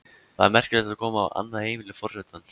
Það er merkilegt að koma á annað heimili forsetans.